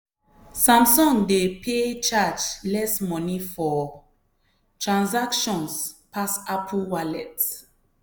samsung pay dey charge less money for transactions pass apple wallet.